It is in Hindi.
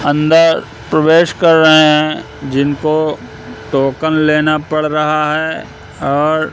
अंदर प्रवेश कर रहे हैं जिनको टोकन लेना पड़ रहा है और--